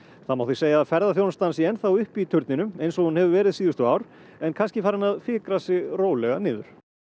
það má því segja að ferðaþjónustan sé enn þá uppi í turninum eins og hún hefur verið síðustu ár en kannski farin að fikra sig rólega niður